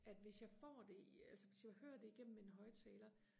at hvis jeg får det i altså hvis jeg hører det i gennem en højtaler